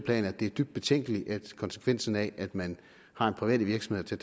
at det er dybt betænkeligt at konsekvensen af at man har private virksomheder til